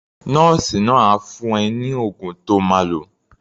Nọ́ọ̀sì náà á fún ẹ ní oògùn to máa lò.